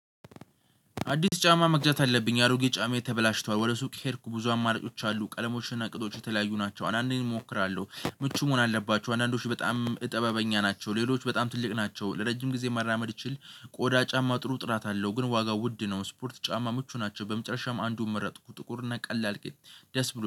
አዲስ ጫማ መግዛት አለብኝ የአሮጌ ጫማዬ ተበላሽቷል ወደ ሱቅ ሄድኩ ብዙ አማራጮች አሉ ቀለሞች እና ቅጦች የተለያዩ ናቸው። አንዳንዴ እሞክራለሁ ምቹ መሆን አለባቸው አንዳንዶች በጣም እጥበበኛ ናቸው ሌሎች በጣም ትልቅ ናቸው። ለረጅም ጊዜ መራመድ እችል ቆዳ ጫማ ጥሩ ጥራት አለው። ግን ዋጋው ውድ ነው። ስፖርት ጫማ ምቹ ናቸው በመጨረሻም አንዱን መረጥኩ። ጥቁር እና ቀላል ቅጥ ደስ ብሎ